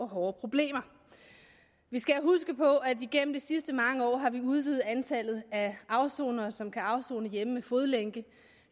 problemer vi skal huske på at igennem de sidste mange år har vi udvidet antallet af afsonere som kan afsone hjemme med fodlænke